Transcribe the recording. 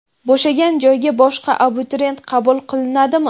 bo‘shagan joyga boshqa abituriyent qabul qilinadimi?.